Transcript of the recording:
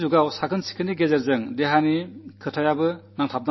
ഇന്നത്തെ യുഗത്തിൽ ശുചിത്വവുമായി ആരോഗ്യം ബന്ധപ്പെട്ടിരിക്കുന്നു